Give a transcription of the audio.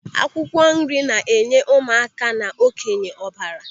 Akwụkwọ nri na-enye ụmụ aka na okenye ọbara.